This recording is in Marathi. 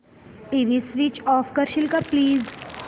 टीव्ही स्वीच ऑफ करशील का प्लीज